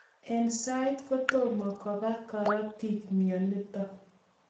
Eng sai kotomo koba karatiik mionotok